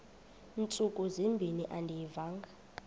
ntsuku zimbin andiyivanga